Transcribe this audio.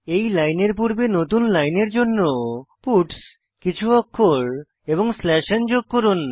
এই লাইনের পূর্বে নতুন লাইনের জন্য পাটস কিছু অক্ষর এবং স্ল্যাশ n যোগ করুন